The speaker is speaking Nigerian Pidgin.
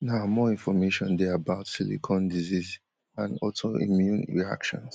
now more information dey about silicone disease and autoimmune reactions